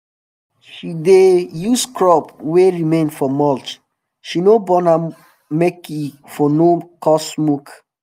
she dey um use crop wey remain for mulch she no burn am make e for no cause smoke